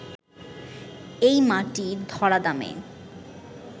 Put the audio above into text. এই মাটির ধরাধামে